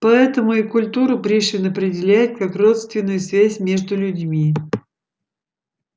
поэтому и культуру пришвин определяет как родственную связь между людьми